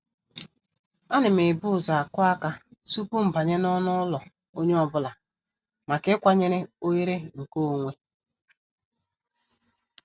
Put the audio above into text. A nam ebu ụzọ akụ aka tupu mbanye n'ọnụ ụlọ onye ọ bụla maka ịkwanyere oghere nke onwe.